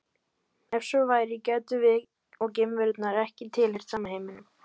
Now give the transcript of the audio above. Ef svo væri gætum við og geimverunnar ekki tilheyrt sama heiminum.